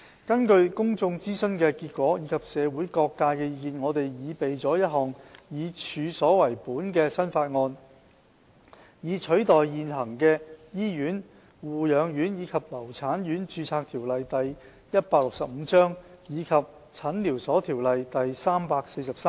根據公眾諮詢的結果及社會各界的意見，我們擬備了一項以處所為本的新法案，以取代現行的《醫院、護養院及留產院註冊條例》及《診療所條例》。